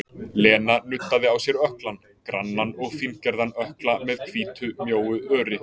Lena nuddaði á sér ökklann, grannan og fíngerðan ökkla með hvítu mjóu öri.